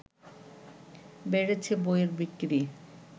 বেড়েছে বইয়ের বিক্রি